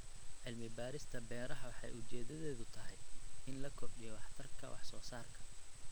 Cilmi-baarista beeraha waxay ujeedadeedu tahay in la kordhiyo waxtarka wax-soo-saarka.